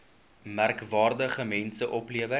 merkwaardige mense opgelewer